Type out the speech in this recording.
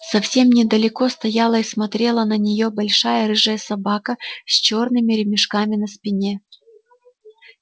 совсем недалеко стояла и смотрела на нее большая рыжая собака с чёрными ремешками на спине